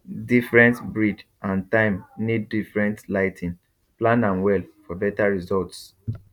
different breed and time need different lighting plan am well for better results